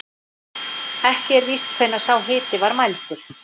Ekki er víst hvenær sá hiti var mældur.